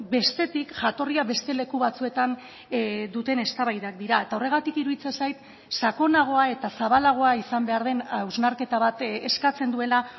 bestetik jatorria beste leku batzuetan duten eztabaidak dira eta horregatik iruditzen zait sakonagoa eta zabalagoa izan behar den hausnarketa bat eskatzen duela